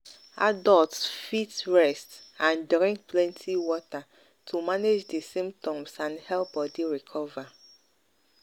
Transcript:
adults fit rest and drink plenty water to manage di symptoms and help body recover.